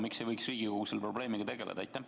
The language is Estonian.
Miks ei võiks Riigikogu selle probleemiga edasi tegeleda?